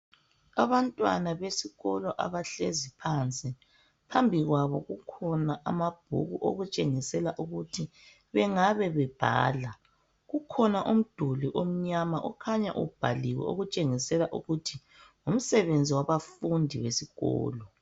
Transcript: Abantwana besikolo abahlezi phansi, phambi kwabo kukhona amabhuku okutshengisela ukuthi bengabe bebhala. Kukhona umduli omnyama ukhanya ubhaliwe okutshengisela ukuthi ngumsebenzi wabafundi besikolo.